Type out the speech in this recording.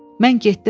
Mən getdim aya.